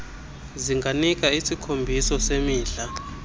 zinganika isikhombiso semidla